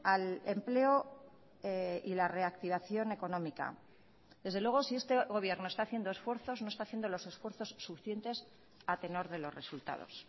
al empleo y la reactivación económica desde luego si este gobierno está haciendo esfuerzos no está haciendo los esfuerzos suficientes a tenor de los resultados